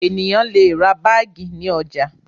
Ènìyàn le ra báágì ní ọjà.